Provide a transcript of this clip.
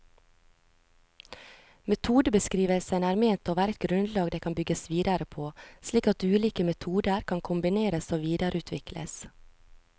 Metodebeskrivelsene er ment å være et grunnlag det kan bygges videre på, slik at ulike metoder kan kombineres og videreutvikles.